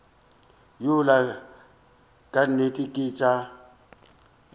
yola ka nnete ke tša